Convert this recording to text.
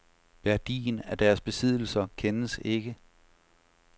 Værdien af deres besiddelser kendes ikke.